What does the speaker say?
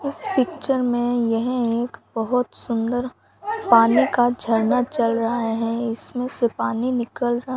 इस पिक्चर में यह एक बहोत सुंदर पानी का झरना चल रहा है इसमें से पानी निकल रहा --